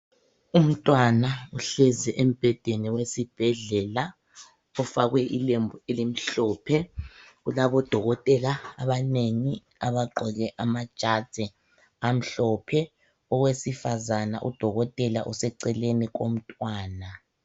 Umtwana uhlezi embhedeni wesibhedlela ufakwe ilembu elimhlophe. Ulabodokotela abanengi abagqoke amajazi amhlophe. Owesifazana udokotela useceleni komntwana.